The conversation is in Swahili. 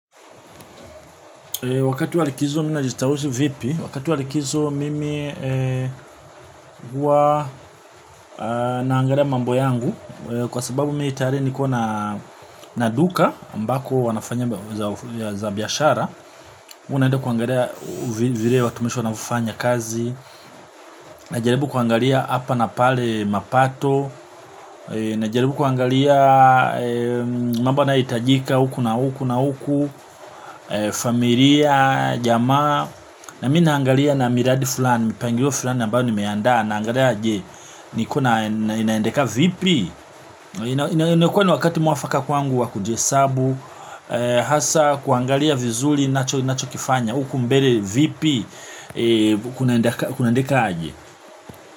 Wakati walikizo mimi na jistawusi vipi wakati walikizo mimi hua naangalia mambo yangu. Kwa sababu miitayari ni kona naduka ambako wanafanya za biashara. Unaenda kuangalia vile watumishi wanavyo fanya kazi. Najaribu kuangalia hapa na pale mapato. Najaribu kuangalia mambo yanayo hitajika huku na huku na huku. Familia jamaa na mimi naangalia na miradi fulani mpangilo fulani ambayo nimeanda naangalia je ni kuna inaendeka vipi na imekuwa ni wakati muafaka kwangu wa kujesabu hasa kuangalia vizuli ninacho kifanya uku mbele vipi kunaendeka aje.